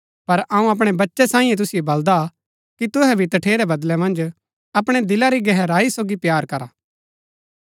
पर अऊँ अपणै बच्चै सांईयै तुसिओ बलदा कि तुहै भी तठेरै बदलै मन्ज अपणै दिला री गहराई सोगी प्‍यार करा